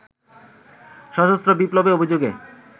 সশস্ত্র বিপ্লবের অভিযোগে